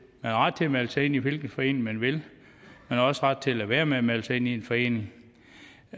man har ret til at melde sig ind i hvilken forening man vil man har også ret til at lade være med at melde sig ind i en forening